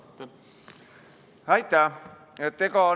Aitäh!